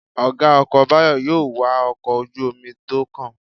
Ọ̀gá ọkọ̀ Báyọ̀ yóò wa ọkọ̀ ojú-omi tó kàn